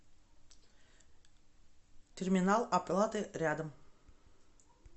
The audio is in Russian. терминал оплаты рядом